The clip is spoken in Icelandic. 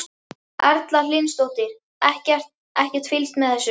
Erla Hlynsdóttir: Ekkert, ekkert fylgst með þessu?